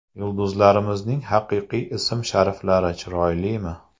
Yulduzlarimizning haqiqiy ism-shariflari chiroylimi?